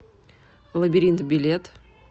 лабиринт билет